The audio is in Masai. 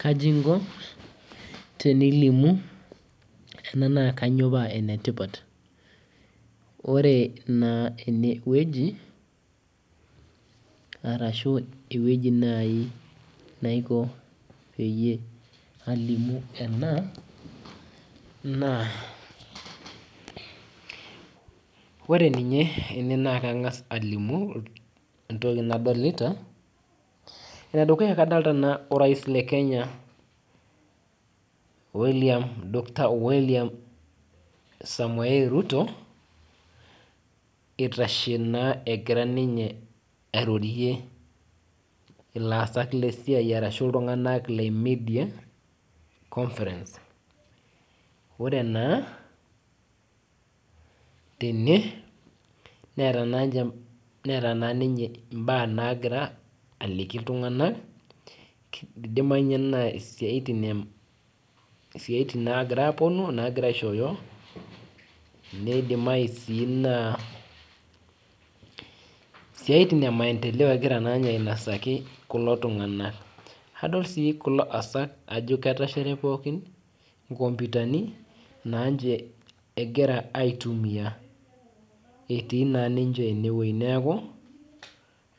Kaji inko tenilimu ena na kanyio enetipat ore naa enewueji arashu ewueji nai naiko palimu ena ore nye ene na kangas alimu entoki nadolita kadolita orais le kenya doctor william samoei ruto itashe naa egira ninye airorie laasak lesiai ore naa tene neeta naa ninche mbaa nagira aliki ltunganak idimayu na siatin nagira aponu nagira aishooyo nidimayu naa siatin emaendeleo egira aitaduaki ltunganak adol si kulo asak ajo ketashare pookin nkomputani egira aitumia etii ninche neaku